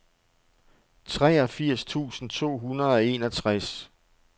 treogfirs tusind to hundrede og enogtres